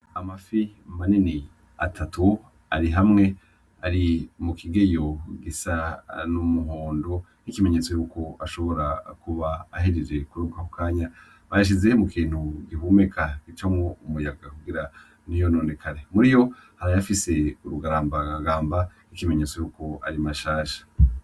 Amafi manini atatu ari hamwe, ari mu kigeyo gisa n'umuhondo nk'ikimenyetso y'uko ashobora kuba ahejeje kurobwa ako kanya. Bayashize mu kintu gihumeka, gicamwo umuyaga kugira ntiyononekare. Muri yo hari ayafise urugaragamba nk'ikimenyetso c'uko ari mashasha.